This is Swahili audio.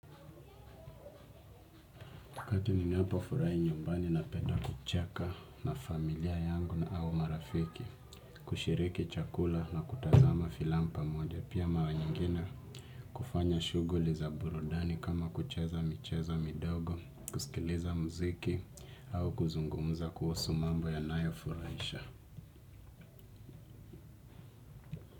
Kati ninipofurai nyumbani napeda kucheka na familia yangu na au marafiki, kushiriki chakula na kutazama filamu pamoja pia maranyingine, kufanya shuguli za burudani kama kucheza michezo midogo, kusikiliza mziki au kuzungumza kuhusu mambo yanayo furaisha.